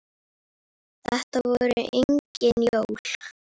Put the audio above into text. Þetta voru engin jól.